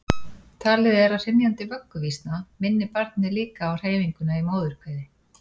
talið er að hrynjandi vögguvísna minni barnið líka á hreyfinguna í móðurkviði